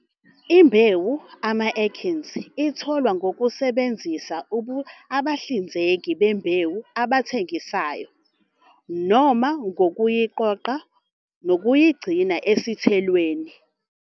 Imbewu, ama-achenes, itholwa ngokusebenzisa abahlinzeki bembewu abathengisayo, noma ngokuyiqoqa nokuyigcina esithelweni.